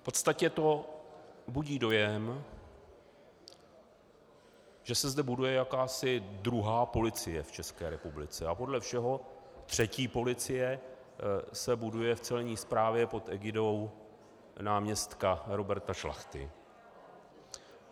V podstatě to budí dojem, že se zde buduje jakási druhá policie v České republice, a podle všeho třetí policie se buduje v Celní správě pod egidou náměstka Roberta Šlachty.